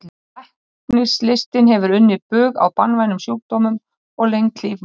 Læknislistin hefur unnið bug á banvænum sjúkdómum og lengt líf manna.